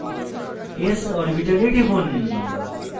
s orbital টিপুন